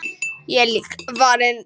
Ég er líka farinn!